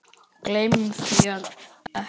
Gleymum því ekki.